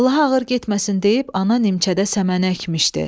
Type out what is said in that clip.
Allaha ağır getməsin deyib ana nimçədə səmən əkmişdi.